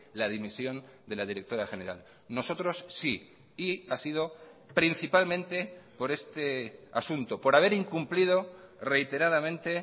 la dimisión de la directora general nosotros sí y ha sido principalmente por este asunto por haber incumplido reiteradamente